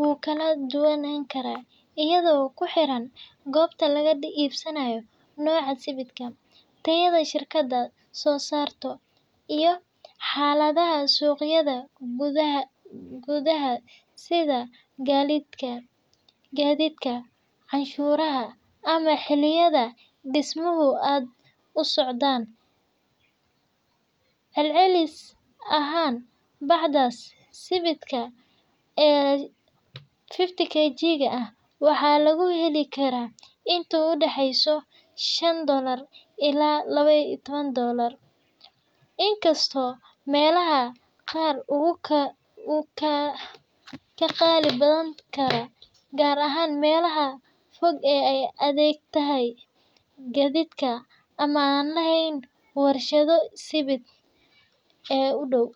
wuu kala dubnaan karaa ayado kuxiran goobta laga iibsanaayo, nooca sibidhka, tayada shirkada soo saarto iyo xaladaha suqyada, gudaha sida gadiidka, canshurta ama xiliyaha dismaha aad usocdaan, celcelis ahaan bacda sibidhka ee 50kg waxaa lagu heli karaa inta udaxeeyso shan dolaar ilaa laba iyo taban doolar, inkasto meelaha qaar uu ka qalisan tahay gaar ahaan meelaha fog aay adeegto gadiidka ama aan leheen warshada sibidh ee udow,